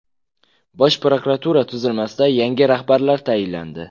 Bosh prokuratura tuzilmasida yangi rahbarlar tayinlandi.